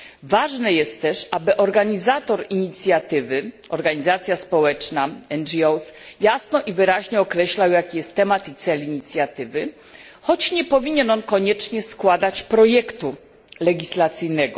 Ważne jest też, aby organizator inicjatywy organizacja społeczna, NGO jasno i wyraźnie określał, jaki jest temat i cel inicjatywy, choć nie powinien on koniecznie składać projektu legislacyjnego.